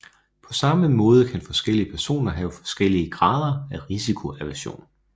På samme måde kan forskellige personer have forskellige grader af risikoaversion